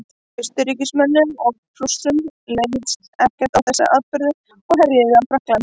austurríkismönnum og prússum leist ekkert á þessa atburði og herjuðu á frakkland